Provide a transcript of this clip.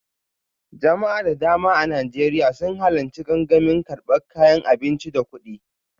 Jama'a da dama a Najeriya sun halarci gangamin karbar kayan abinci da kudi